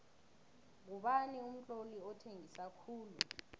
ngubani umtloli othengisa khulu